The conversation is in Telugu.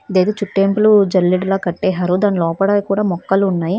ఇదేదో చుట్టేయింపులు జల్లెడులగా కట్టేరు దాని లోపల మొక్కలు ఉన్నాయి.